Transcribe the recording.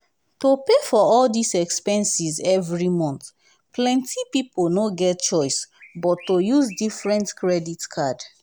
to pay for all dis expenses every month plenti pipo no get chioce but to use different credit card.